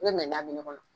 I bɛ mina min kɔnɔ